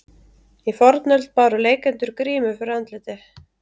Í fornöld báru leikendur grímu fyrir andliti.